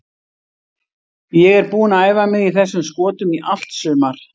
Ég er búinn að æfa mig í þessum skotum í allt sumar.